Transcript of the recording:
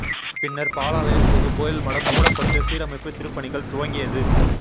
பின்னர் பாலாலயம் செய்து கோயில் மடம் மூடப்பட்டு சீரமைப்பு திருப்பணிகள் துவங்கியது